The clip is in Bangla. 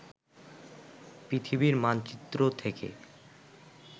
পৃথিবীর মানচিত্র থেকে